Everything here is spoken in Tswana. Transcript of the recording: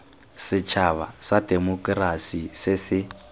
setšhaba sa temokerasi se se